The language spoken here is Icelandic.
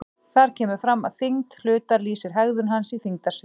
Þar kemur fram að þyngd hlutar lýsir hegðun hans í þyngdarsviði.